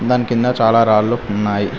దాని కింద చాలా రాళ్లు ఉన్నాయి.